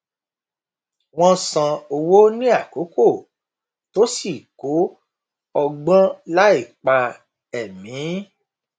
wọn san owó ní àkókò tó sì kó ọgbọn láìpa ẹmí